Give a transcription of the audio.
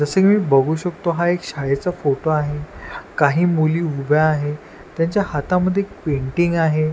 जसं की मी बघू शकतो हा एक शाळेचा फोटो आहे काही मुली उभ्या आहेत त्यांच्या हातामध्ये एक पेंटिंग आहे.